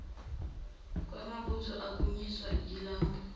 kwamabutho akhanyiswa yilambu